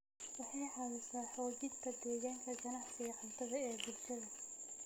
Waxay caawisaa xoojinta deegaanka ganacsiga cuntada ee bulshada.